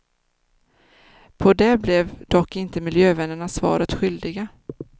På det blev dock inte miljövännerna svaret skyldiga.